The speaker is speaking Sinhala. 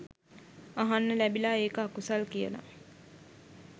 අහන්න ලැබිලා ඒක අකුසල් කියලා